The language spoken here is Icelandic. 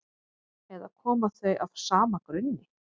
eða koma þau af sama grunni